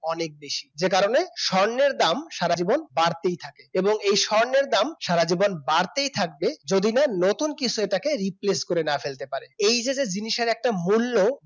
অনেক বেশি যে কারণে স্বর্ণের দাম সারা জীবন বাড়তেই থাকে এবং এই স্বর্ণের দাম সারা জীবন বাড়তেই থাকবে যদি না নতুন কিছু এটাকে replace করে না ফেলতে পারে এই যে জিনিসের একটা মূল্য